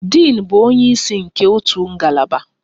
Din bụ onye isi nke otu ngalaba.